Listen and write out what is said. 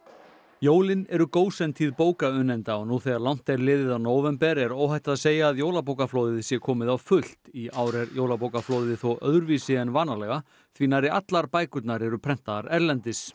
jólin eru gósentíð bókaunnenda og nú þegar langt er liðið á nóvember er óhætt að segja að jólabókaflóðið sé komið á fullt í ár er jólabókaflóðið þó öðruvísi en vanalega því nærri allar bækurnar eru prentaðar erlendis